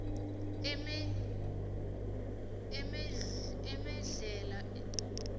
emedlhela